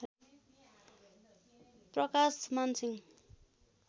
Prakash Man Singh